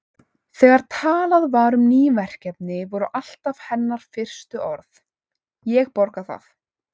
Þegar talað var um ný verkefni voru alltaf hennar fyrstu orð: Ég borga það